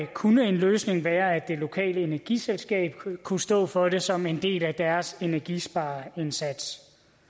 kunne en løsning være at det lokale energiselskab kunne stå for det som en del af deres energispareindsats